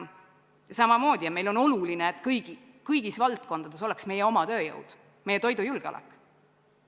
Samamoodi meile on oluline, et kõigis valdkondades oleks tagatud meie oma tööjõud, meie toidujulgeolek.